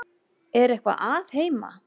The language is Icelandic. Er eitthvað að heima?